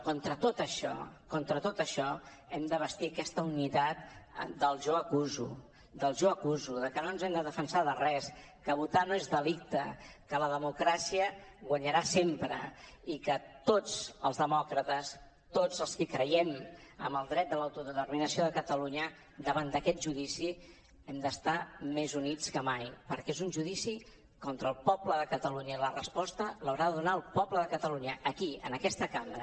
contra tot això contra tot això hem de bastir aquesta unitat del jo acuso del jo acuso de que no ens hem de defensar de res que votar no és delicte que la democràcia guanyarà sempre i que tots els demòcrates tots els que creiem en el dret de l’autodeterminació de catalunya davant d’aquest judici hem d’estar més units que mai perquè és un judici contra el poble de catalunya i la resposta l’haurà de donar el poble de catalunya aquí en aquesta cambra